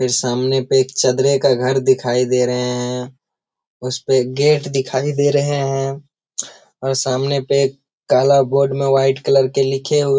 फिर सामने पे एक चदरे का घर दिखाई दे रहे है उसपे गेट दिखाई दे रहे है और सामने पे काला बोर्ड मे व्हाइट कलर के लिखे हुए --